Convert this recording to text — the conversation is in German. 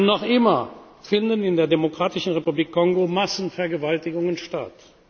Noch immer finden in der Demokratischen Republik Kongo Massenvergewaltigungen